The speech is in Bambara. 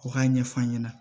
U k'a ɲɛf'a ɲɛna